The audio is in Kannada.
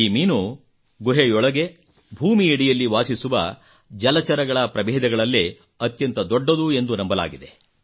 ಈ ಮೀನು ಗುಹೆಯೊಳಗೆ ಭೂಮಿಯಡಿಯಲ್ಲಿ ವಾಸಿಸುವ ಜಲಚರಗಳ ಪ್ರಭೇದಗಳಲ್ಲೇ ಅತ್ಯಂತ ದೊಡ್ಡದು ಎಂದು ನಂಬಲಾಗಿದೆ